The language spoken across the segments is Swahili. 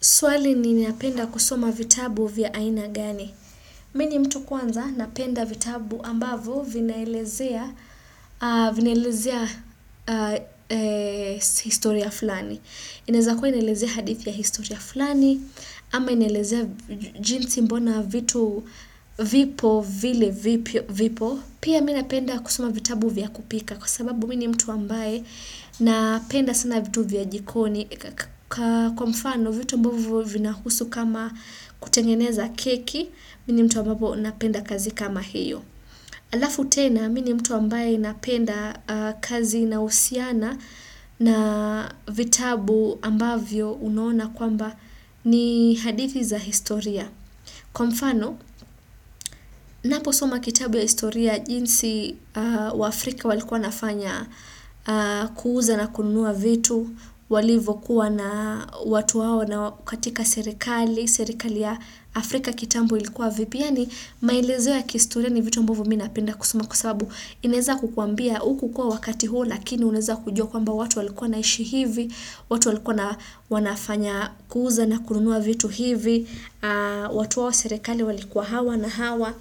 Swali ni ninapenda kusoma vitabu vya aina gani. Mi ni mtu kwanza napenda vitabu ambavo vinaelezea historia fulani. Inaezakua inaelezea hadithi ya historia fulani ama inaelezea jinsi mbona vitu vipo vile vipo. Pia mi napenda kusoma vitabu vya kupika kwa sababu mi ni mtu ambaye napenda sana vitu vya jikoni. Kwa mfano, vitu mbovyo vinahusu kama kutengeneza keki, mi ni mtu ambapo napenda kazi kama hiyo. Alafu tena, mi ni mtu ambaye napenda kazi inayousiana na vitabu ambavyo unaona kwamba ni hadithi za historia. Kwa mfano, naposoma kitabu ya historia, jinsi waafrika walikuwa wanafanya kuuza na kununua vitu, walivokuwa na watu hawa na katika serikali, serikali ya Afrika kitambo ilikuwa vipi yaani, maelezo ya kihistoria ni vitu ambavo mi napenda kusima kwa sabu inaeza kukuambia hukukua wakati huo lakini unaeza kujua kwamba watu walikuwa wanaishi hivi, watu walikuwa na wanafanya kuuza na kununua vitu hivi, watu wao serikali walikuwa hawa na hawa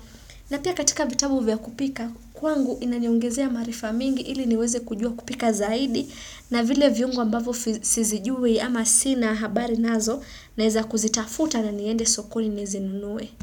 na pia katika vitabu vya kupika kwangu inaniongezea maarifa mingi ili niweze kujua kupika zaidi na vile viungo ambavyo sizijui ama sina habari nazo naeza kuzitafuta na niende sokoni nizinunue.